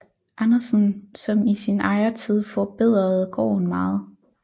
Andersen som i sin ejertid forbedrede gården meget